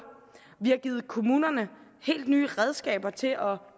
vi har givet kommunerne helt nye redskaber til at